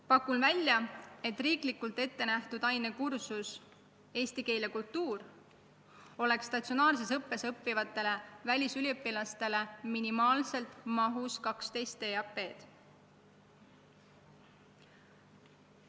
Pakun välja, et riiklikult ette nähtud ainekursus "Eesti keel ja kultuur" oleks statsionaarses õppes õppivatele välisüliõpilastele minimaalselt mahus 12 EAP-d.